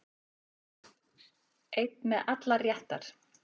Einn með allar réttar